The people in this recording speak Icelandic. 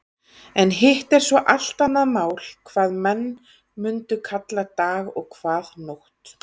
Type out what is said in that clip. En hitt er svo allt annað mál hvað menn mundu kalla dag og hvað nótt.